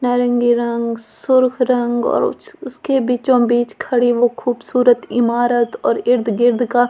नारंगी रंग सुर्ख रंग और उस उसके बीचों-बीच खड़ी वो खूबसूरत ईमारत और इर्द-गिर्द का--